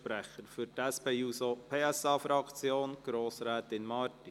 Für die SP-JUSO-PSAFraktion: Grossrätin Marti.